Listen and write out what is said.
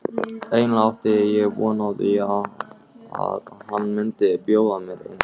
Eiginlega átti ég von á því að hann myndi bjóða mér inn.